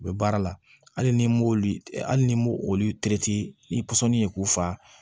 U bɛ baara la hali ni m'olu hali ni m'o olu ni ye k'u fa